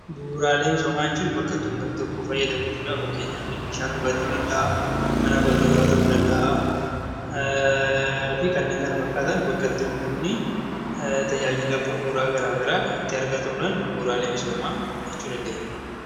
Bu'uuraalee misoomaa jechuun bakka uummanni tokko itti fayyadamu jechuudha. Fakkeenyaaf bishaan dhugaatii, mana barnootaa fi kanneen kana fakkaatan bakka itti uummanni tajaajila bu'uuraa garaagaraa itti argatuun bu'uuraalee misoomaa jechuu dandeenya.